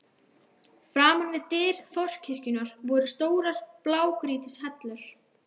Framan við dyr forkirkjunnar voru stórar blágrýtishellur.